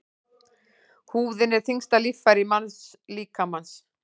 Húðin er þyngsta líffæri mannslíkamans.